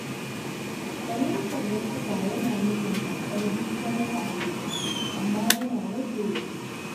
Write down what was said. Fahimtar wasu ba yana nufin karɓar duk wani ra’ayi ba, amma yana rage rikici.